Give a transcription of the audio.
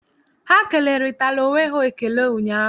Ha kelerịtara onwe ha ekele ụnyaahụ.